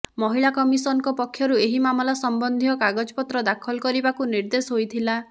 ମହିଳା କମିଶନଙ୍କ ପକ୍ଷରୁ ଏହି ମାମଲା ସମ୍ବନ୍ଧୀୟ କାଗଜପତ୍ର ଦାଖଲ କରିବାକୁ ନିର୍ଦ୍ଦେଶ ହୋଇଥିଲା